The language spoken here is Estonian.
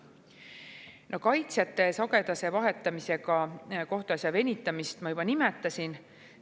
No kaitsjate sagedase vahetamise abil kohtuasja venitamist ma juba nimetasin.